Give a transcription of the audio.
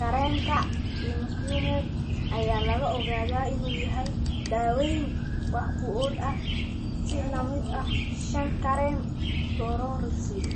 Kareemka Imiquimod ayaa la ogaaday inuu yahay daaweyn wax ku ool ah, si la mid ah shan kareem fluorouracil.